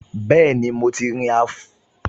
Bẹ́ẹ̀ni, mo ti rin orí afárá tí wọ́n kọ́ sórí òsà ní Èkó